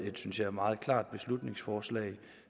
et synes jeg meget klart beslutningsforslag